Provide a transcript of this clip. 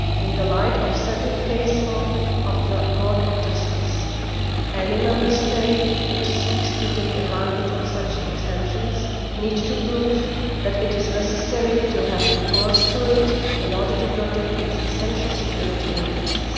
In the light of settled case law of the Court of Justice, any Member State which seeks to take advantage of an exemption needs to prove that it is necessary to have recourse to it in order to protect the state's essential security interests.